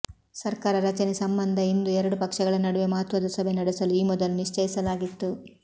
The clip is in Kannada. ಸರ್ಕಾರ ರಚನೆ ಸಂಬಂಧ ಇಂದು ಎರಡು ಪಕ್ಷಗಳ ನಡುವೆ ಮಹತ್ವದ ಸಭೆ ನಡೆಸಲು ಈ ಮೊದಲು ನಿಶ್ಚಯಿಸಲಾಗಿತ್ತು